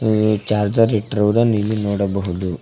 Me charger ಇಟ್ಟಿರುವುದನ್ನು ಇಲ್ಲಿ ನೋಡಬಹುದು.